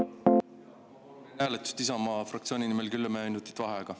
Jaa, ma palun enne hääletust Isamaa fraktsiooni nimel kümme minutit vaheaega.